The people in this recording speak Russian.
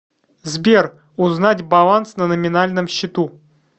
сбер узнать баланс на номинальном счету